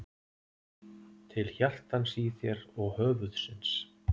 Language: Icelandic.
Til hjartans í þér og höfuðsins.